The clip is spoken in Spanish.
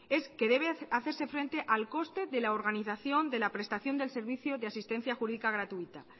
es que debe hacerse frente al coste de la organización de la prestación de servicio de asistencia jurídica gratuita